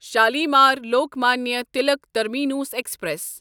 Shalimar Lokmanya Tilak terminus express